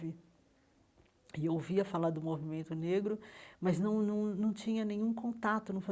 E eu ouvia falar do Movimento Negro, mas não não não tinha nenhum contato não